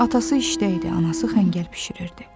Atası işdə idi, anası xəngəl bişirirdi.